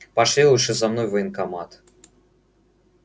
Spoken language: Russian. пошли лучше за мной в военкомат